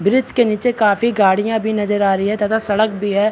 Bridge के निचे काफी गाड़ियाँ भी नजर आ रही है तथा सड़क भी है।